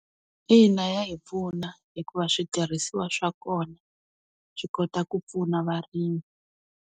Ina, ya hi pfuna hikuva switirhisiwa swa kona swi kota ku pfuna varimi.